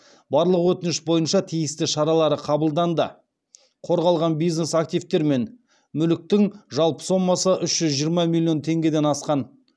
барлық өтініш бойынша тиісті шаралары қабылданды қорғалған бизнес активтер мен мүліктің жалпы сомасы үш жүз жиырма миллион теңгеден асқан